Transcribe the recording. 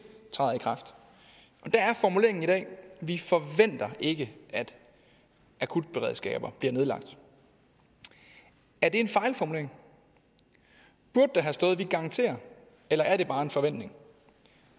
træder i kraft og der er formuleringen i dag vi forventer ikke at akutberedskaber bliver nedlagt er det en fejlformulering burde der have stået vi garanterer eller er det bare en forventning